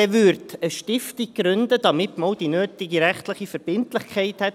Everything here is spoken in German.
Er würde eine Stiftung gründen, damit man auch die nötige rechtliche Verbindlichkeit hätte.